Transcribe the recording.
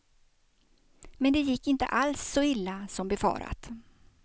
Men det gick inte alls så illa som befarat.